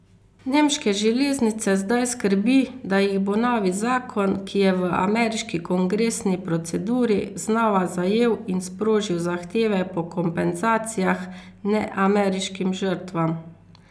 Nemške železnice zdaj skrbi, da jih bo novi zakon, ki je v ameriški kongresni proceduri, znova zajel in sprožil zahteve po kompenzacijah neameriškim žrtvam.